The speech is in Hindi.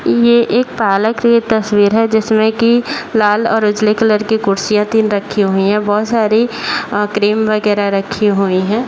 ये एक पार्लर की तस्वीर है जिसमें की लाल और उजले कलर की कुर्सियाँ तीन रखी हुई हैं बहुत सारी अ क्रीम -वगेरा रखी हुई हैं ।